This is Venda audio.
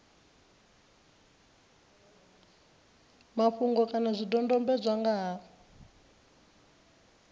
mafhungo kana zwidodombedzwa nga ha